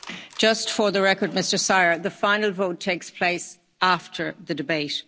Just for the record, Mr Szájer, the final vote takes place after the debate.